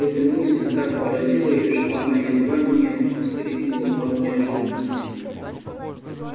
эта мысль так поразила её что она едва не вскрикнула от неожиданности